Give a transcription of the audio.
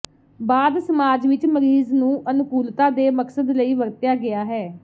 ਬਾਅਦ ਸਮਾਜ ਵਿਚ ਮਰੀਜ਼ ਨੂੰ ਅਨੁਕੂਲਤਾ ਦੇ ਮਕਸਦ ਲਈ ਵਰਤਿਆ ਗਿਆ ਹੈ